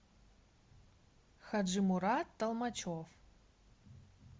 хаджимурат толмачев